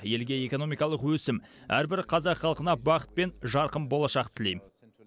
елге экономикалық өсім әрбір қазақ халқына бақыт пен жарқын болашақ тілеймін